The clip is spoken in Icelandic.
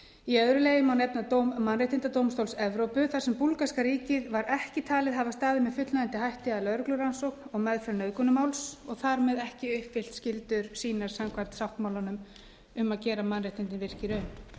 í öðru lagi má nefna dóm mannréttindadómstóls evrópu þar sem búlgarska ríkið var ekki talið hafa staðið með fullnægjandi hætti að lögreglurannsókn og meðferð nauðgunarmáls og þar með ekki uppfyllt skyldur sínar samkvæmt sáttmálanum um að gera mannréttindin virk í raun vík ég því